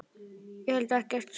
Ég held ekkert.